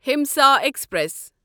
Himsa express